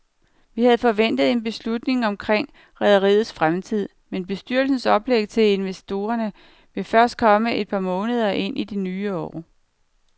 Vi havde forventet en beslutning omkring rederiets fremtid, men bestyrelsens oplæg til investorerne vil først komme et par måneder ind i det nye år.